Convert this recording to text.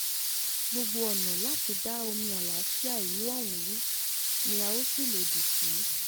gbogbo ọ̀nà láti da omi àlàáfíà àlàáfíà ìlú ọ̀hún rú ni a ó sì lòdì sí